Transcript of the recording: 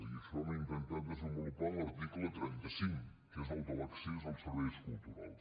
i això ho hem intentat desenvolupar en l’article trenta cinc que és el de l’accés als serveis culturals